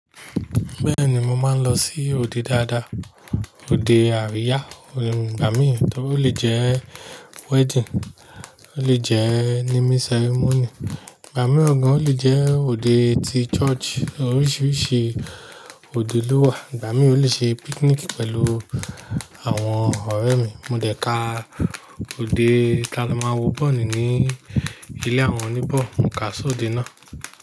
Bẹ́ẹ̀ni, mo máa ń lọ sí òde dáadáa, òde àríyá. Ìgbà mí, torí ó lè jẹ́ wedding, ó lè jẹ́ naming ceremony. Ìgbà mí ó gan, ó lè jẹ́ òde ti church. Oríṣiríṣi òde ló wà. Ìgbà mí ó lè ṣe picnic pẹ̀lú àwọn ọ̀rẹ́ mi. Mo dẹ̀ ka òde ká lọ máa ń wo bọ́ọ̀lù ní ilé àwọn oníbọ́, mo kà sí òde náà.